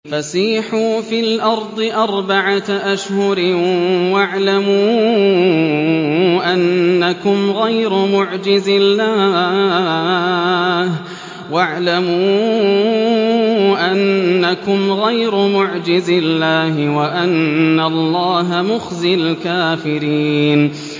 فَسِيحُوا فِي الْأَرْضِ أَرْبَعَةَ أَشْهُرٍ وَاعْلَمُوا أَنَّكُمْ غَيْرُ مُعْجِزِي اللَّهِ ۙ وَأَنَّ اللَّهَ مُخْزِي الْكَافِرِينَ